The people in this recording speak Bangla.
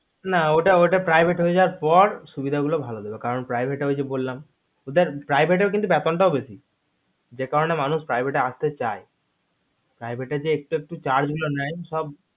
না ঐটা private হয়ে জয়ার পার সুভিদা গুলো ভালো দেবে কারণ private এ ঐযে আমি বললাম ওদের private এ কিন্তু বেতন টাও বেশি যে কারণে মানুষ private এ আসতে চায় private এ যে একটু একটু charge গুলো নয় সব